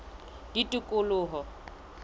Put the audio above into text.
tikoloho